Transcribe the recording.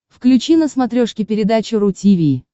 включи на смотрешке передачу ру ти ви